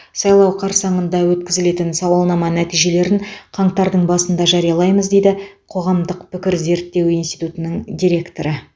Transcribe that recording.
сайлау қарсаңында өткізілетін сауалнама нәтижелерін қаңтардың басында жариялаймыз дейді қоғамдық пікір зерттеу институтының директоры